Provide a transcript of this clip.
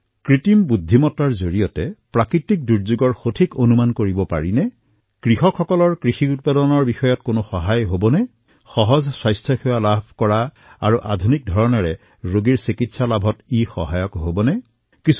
কৃত্ৰিম বুদ্ধিমতাৰ সহায়ত আমি প্ৰাকৃতিক দুৰ্যোগসমূহৰ অধিক উন্নত ভাৱে অনুমান কৰিব পাৰোঁ নেকি খেতিয়কসকলে শস্যসমূহৰ উৎপাদনৰ ক্ষেত্ৰত কিবা সহায় পাব পাৰে নেকি কৃত্ৰিম বুদ্ধিমতাই স্বাস্থ্য সেৱা প্ৰাপ্তিক সহজ কৰি তুলিবলৈ তথা আধুনিক ধৰণে ৰোগৰ চিকিৎসা কৰাবলৈ সহায় কৰিব পাৰে নেকি